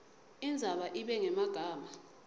indzaba ibe ngemagama